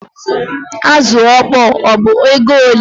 Azụ ọkpọr ọ bụ ego ole?